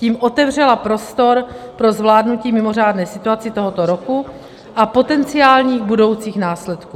Tím otevřela prostor pro zvládnutí mimořádné situace tohoto roku a potenciálních budoucích následků.